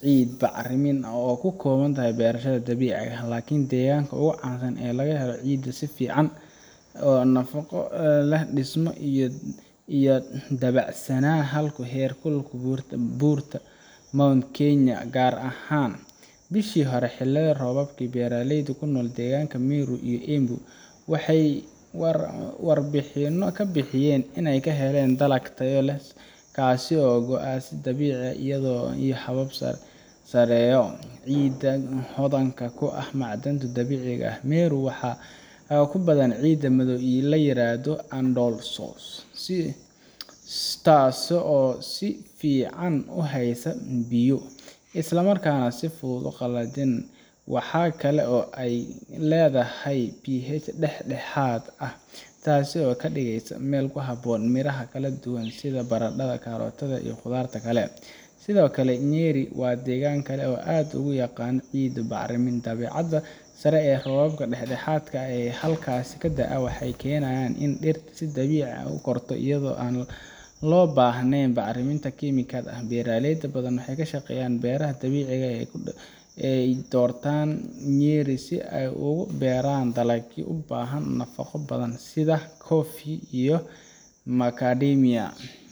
ciid bacrin ah oo ku habboon beerashada dabiiciga ah. Laakiin deeganka ugu caansan ee laga helo ciidda ugu tayada fiican marka la eego nafaqo, dhismo iyo dabacsanaan, waa dhulka ku yaalla hareeraha buurta Mount Kenya, gaar ahaan: Bishii hore ee xilli roobaadka, beeraleyda ku nool deegaanka Meru iyo Embu waxay warbixino ka bixiyeen in ay helaan dalag tayo sare leh oo kasoo go’a si dabiici ah, iyadoo ay sabab u tahay ciidda hodanka ku ah macdanta dabiiciga ah. Meru waxaa ku badan ciidda madow ee la yiraahdo "Andosols" taas oo si fiican u haysta biyo, isla markaana aan si fudud u qallalin. Waxa kale oo ay leedahay pH dhexdhexaad ah, taas oo ka dhigaysa meel ku habboon miraha kala duwan sida baradhada, karootada, iyo khudaarta kale. Sidoo kale, Nyeri waa deegaan kale oo aad loogu yaqaan ciid bacrin ah. Dabeecadda sare iyo roobka dhexdhexaadka ah ee halkaas ka da’a, wuxuu keenaa in dhirta si dabiici ah u korto iyadoo aan loo baahnayn bacriminta kiimikada ah. Beeraley badan oo ka shaqeeya beeraha dabiiciga ah ayaa doorta Nyeri si ay ugu beeraan dalagyo u baahan nafaqo badan sida coffee iyo macadamia.